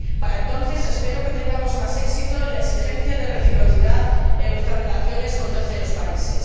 Para entonces espero que tengamos más éxito en la exigencia de reciprocidad en nuestras relaciones con terceros países.